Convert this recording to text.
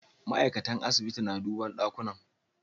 Ma'aikatan dakunan asibiti na duban dakunan.